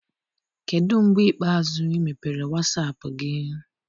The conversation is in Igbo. Kedụ mgbe ikpeazụ ị mepere wasaapụ gị?